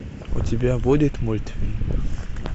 у тебя будет мультфильм